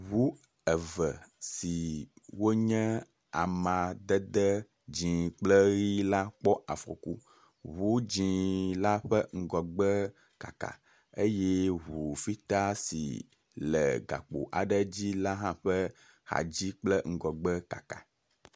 Ŋu eve si wonye amadede dzɛ̃ kple ʋi la kpɔ afɔku. Ŋu dzɛ̃ la ƒe ŋgɔgbe kaka eye ŋu fita si le gakpo aɖe dzi la ƒe ŋgɔgbe kple axa dzi la hã kaka.